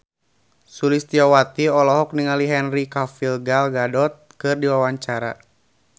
Sulistyowati olohok ningali Henry Cavill Gal Gadot keur diwawancara